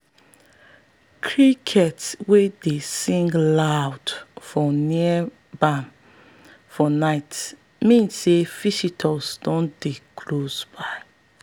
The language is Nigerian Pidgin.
crickets wey dey sing loud for near barn for night mean say visitor don dey close by.